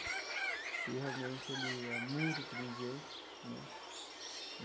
E realmente ele é muito inteligente, né?